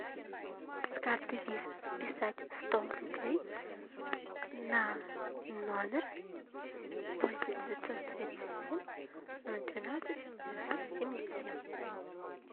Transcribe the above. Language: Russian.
с карты виза списать сто рублей на номер восемь девятьсот тридцать семь ноль двенадцать девятнадцать семьдесят семь